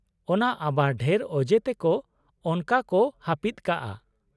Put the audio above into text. - ᱚᱱᱟ ᱟᱵᱟᱨ ᱰᱷᱮᱨ ᱚᱡᱮ ᱛᱮᱠᱚ ᱚᱱᱟᱠᱚ ᱦᱟᱹᱯᱤᱫ ᱠᱟᱜᱼᱟ ᱾